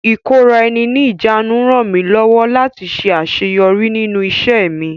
Ìkóra-eni-ní-ìjánu rànmí lọ́wọ́ láti ṣe àṣẹyọrí nínú ìṣẹ́ mi..